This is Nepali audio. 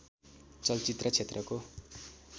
चलचित्र क्षेत्रको